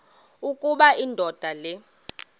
ukuba indoda le